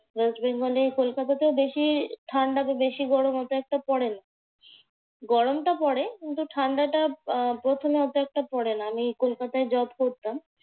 West বেঙ্গলে কলকাতাতে বেশি ঠান্ডা যে বেশি গরম অত একটা পড়ে না। গরমটা পড়ে কিন্তু ঠান্ডাটা আহ প্রথমে অত একটা পড়ে না। আমি কলকাতায় job করতাম